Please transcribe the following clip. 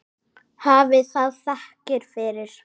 Hafi það þakkir fyrir.